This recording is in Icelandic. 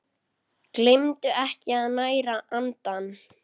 Gleymdu ekki að næra andann!